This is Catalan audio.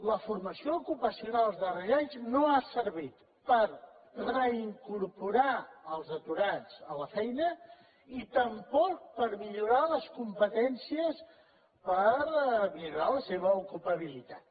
la formació ocupacional els darrers anys no ha servit per reincorporar els aturats a la feina ni tampoc per millorar les competències per millorar la seva ocupabilitat